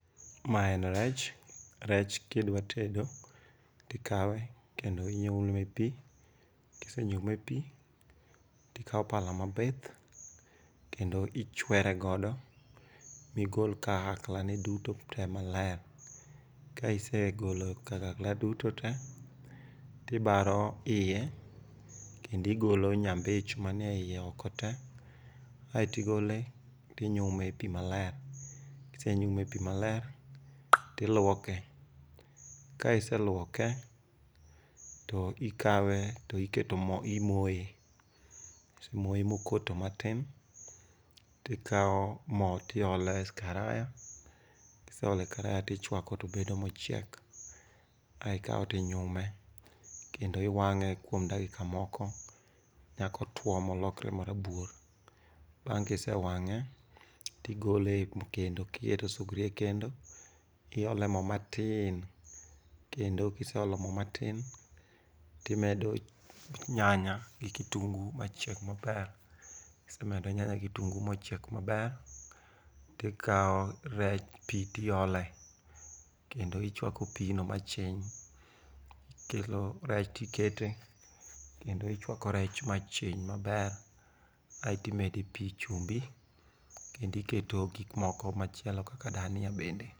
Ma en rech. Rech kidwa tedo, ikawe kendo inyume epi, kisenyume epi tikawo pala mabith kendo ichwere godo migol kagakla duto te maler. Ka isegolo kagakla duto te to ibare kendo igolo nyambich manie iye oko te, aeto igole tinyume pi maler. Kisenyume epi maler tiluoke, kaiseluoke to ikawe to iketo mo to imoye. Kisemoye mokoto matin, tikawo mo tiolo ei karaya, kiseolo eikaraya tichwake obedo mochiek. ae ikawe ti nyume kendo iwang'e kuom dakika moko nyaka otuo molokre marabuor. Bang' kise wang'e, tigole ekendo eketo sugria ekendo tiole mo matiin, kendo kiseolo mo matin timedo nyanya gi []cskitungu machieg maber. Kisemedo nyanya gi []cskitungu[]cs mochiek maber, tikawo rech pi ti ole kendo ichwako pino machiny, ikelo rech ti kete kendo ichwako rech machiny maber aeto imede pi chumbi kendo iketee gimoko machielo kaka dania bende.